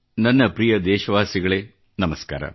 ನನ್ನ ಪ್ರಿಯ ದೇಶವಾಸಿಗಳೇ ನಮಸ್ಕಾರ